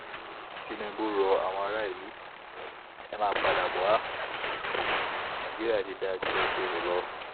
tinubu ro àwọn ará ìlú e máa padà bó wálé nàìjíríà ti dáa jù bẹ́ẹ̀ ṣe rò lọ